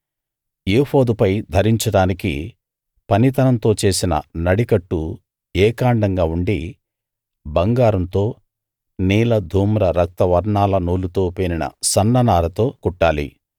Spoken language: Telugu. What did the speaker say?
ఏఫోదుపై ధరించడానికి పనితనంతో చేసిన నడికట్టు ఏకాండంగా ఉండి బంగారంతో నీల ధూమ్ర రక్త వర్ణాల నూలుతో పేనిన సన్ననారతో కుట్టాలి